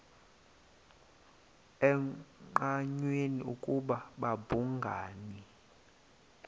engqanweni ukuba babhungani